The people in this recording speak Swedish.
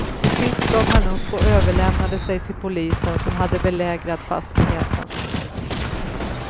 Till sist gav han upp och överlämnade sig till polisen, som hade belägrat fastigheten.